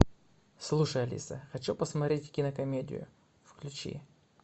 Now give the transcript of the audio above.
слушай алиса хочу посмотреть кинокомедию включи